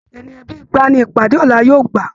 Ènìyàn bíi igba ní ìpàdé ọlá yóò gbà.